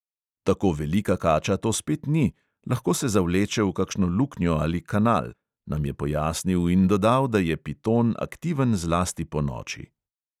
"Tako velika kača to spet ni, lahko se zavleče v kakšno luknjo ali kanal," nam je pojasnil in dodal, da je piton aktiven zlasti ponoči.